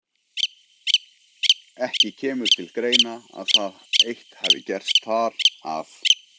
Ekki kemur til greina, að það eitt hafi gerst þar, að